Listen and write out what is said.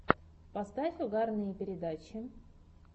поставь угарные передачи